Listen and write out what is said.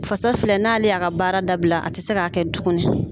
Fasa filɛ n'ale y'a ka baara dabila a ti se k'a kɛ tuguni.